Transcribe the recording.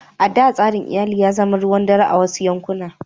A da, tsarin iyali ya zama ruwan dare a wasu yankuna.